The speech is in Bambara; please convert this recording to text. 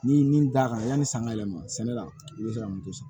Ni min da kan yani sanga yɛlɛma sɛnɛ la i be se ka moto sɔrɔ